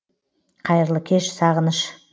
қайырлы кеш сағыныш